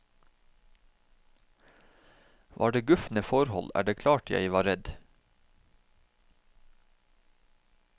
Var det gufne forhold, er det klart jeg var redd.